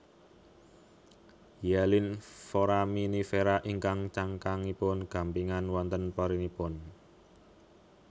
Hyalin Foraminifera ingkang cangkangipun gampingan wonten porinipun